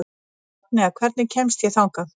Magnea, hvernig kemst ég þangað?